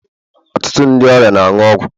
Ọtụtụ ndị ọrịa na-aṅụ ọgwụ